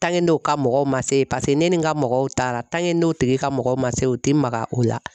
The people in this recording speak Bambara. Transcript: n'o ka mɔgɔw ma se paseke ne ni n ka mɔgɔw taara n'o tigi ka mɔgɔw ma se u tɛ maga o la.